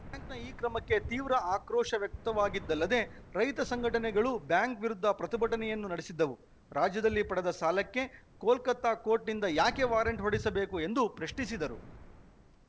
ಬ್ಯಾಂಕ್‌ನ ಈ ಕ್ರಮಕ್ಕೆ ತೀವ್ರ ಆಕ್ರೋಶ ವ್ಯಕ್ತವಾಗಿದ್ದಲ್ಲದೆ ರೈತ ಸಂಘಟನೆಗಳು ಬ್ಯಾಂಕ್‌ ವಿರುದ್ಧ ಪ್ರತಿಭಟನೆಯನ್ನೂ ನಡೆಸಿದ್ದವು ರಾಜ್ಯದಲ್ಲಿ ಪಡೆದ ಸಾಲಕ್ಕೆ ಕೋಲ್ಕತಾ ಕೋರ್ಟ್‌ನಿಂದ ಯಾಕೆ ವಾರಂಟ್‌ ಹೊರಡಿಸಬೇಕು ಎಂದು ಪ್ರಶ್ನಿಸಿದ್ದರು